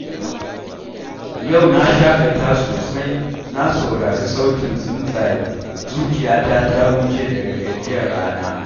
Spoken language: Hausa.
Yau na shaƙata sosai, na saurari sautin tsuntsaye, zuciya ta ta huce daga gajiyar rana.